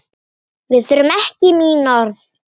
Við þurfum ekki mín orð.